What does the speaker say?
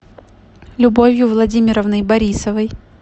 любовью владимировной борисовой